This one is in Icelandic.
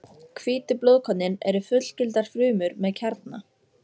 Hvítu blóðkornin eru fullgildar frumur með kjarna.